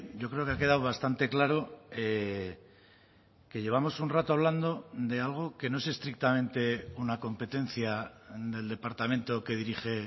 yo creo que ha quedado bastante claro que llevamos un rato hablando de algo que no es estrictamente una competencia del departamento que dirige